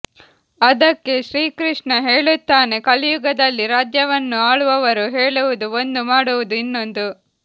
ಅದಕ್ಕೆ ಶ್ರೀಕೃಷ್ಣ ಹೇಳುತ್ತಾನೆ ಕಲಿಯುಗದಲ್ಲಿ ರಾಜ್ಯವನ್ನು ಆಳುವವರು ಹೇಳುವುದು ಒಂದು ಮಾಡುವುದು ಇನ್ನೊಂದು